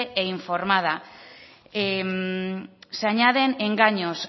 e informada se añaden engaños